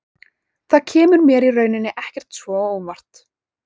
Það kemur mér í rauninni ekkert svo á óvart.